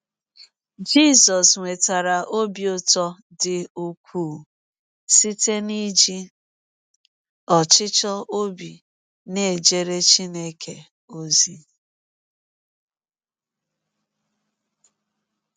Jisọs nwetara ọbi ụtọ dị ụkwụụ site n’iji ọchịchọ ọbi na - ejere Chineke ọzi.